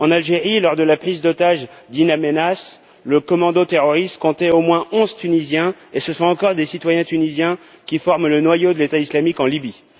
En Algérie, lors de la prise d'otages d'In Amenas, le commando terroriste comptait au moins 11 Tunisiens et ce sont encore des citoyens tunisiens qui forment le noyau de l'État islamique en Libye.